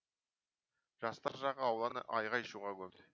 жастар жағы ауланы айғай шуға көмді